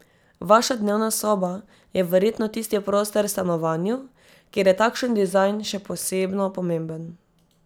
Vaša dnevna soba je verjetno tisti prostor v stanovanju, kjer je takšen dizajn še posebno pomemben.